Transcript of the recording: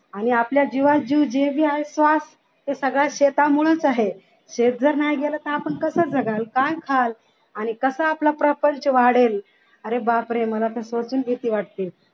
आणि आपल्या जिवंत जीव जो भी आहे तो सगळ्या शेतांमुळंच आहे शेत जर नाही गेलं तर आपण कस जगाल काय खाल आणि कसा आपला प्रपंच वाढेल अरे बापरे मला तर इथपासून भीती वाटतेय